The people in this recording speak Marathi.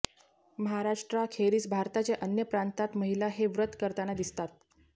महराष्ट्राखेरीज भारताच्या अन्य प्रांतात महिला हे व्रत करताना दिसतात